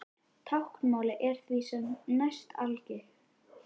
Táknmálið er því sem næst algilt.